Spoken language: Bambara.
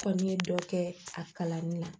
Kɔ n ye dɔ kɛ a kalanni na